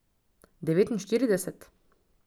Devetinštirideset?